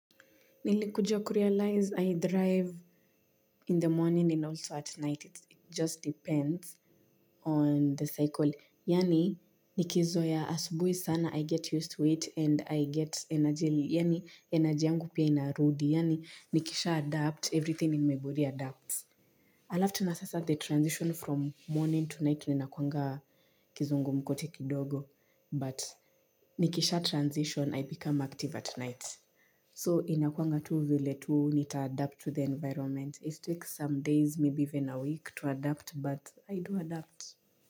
Nilikuja kurealize I drive in the morning and also at night. It just depends on the cycle. Yaani nikizoea asubuhi sana I get used to it and I get energy. Yaani energy yangu pia inarudi. Yaani nikisha adapt everything in my body adapts. Alafu tena sasa the transition from morning to night. Linakuanga kizungumkuti kidogo. But nikisha transition I become active at night. So inakuanga tu vile tu, nitaadapt to the environment. It takes some days, maybe even a week to adapt, but I do adapt.